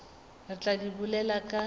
re tla di bolela ka